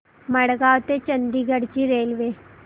मडगाव ते चंडीगढ ची रेल्वे